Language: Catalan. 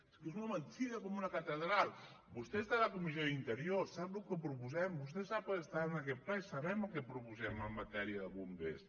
és que és una mentida com una catedral vostè està a la comissió d’interior sap el que proposem vostè està en aquest ple i sap el que proposem en matèria de bombers